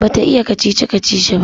Bata iya kacici-kacici ba